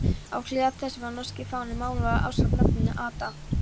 Á hliðar þess var norski fáninn málaður ásamt nafninu Ada